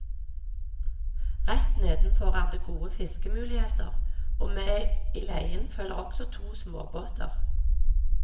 Rett nedenfor er det gode fiskemuligheter, og med i leien følger også to småbåter.